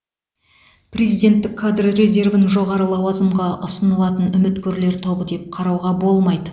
президенттік кадр резервін жоғары лауазымға ұсынылатын үміткерлер тобы деп қарауға болмайды